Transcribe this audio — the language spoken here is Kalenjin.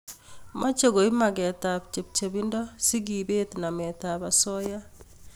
mache koip maget ab chepchepindo si kepet namet ab asoya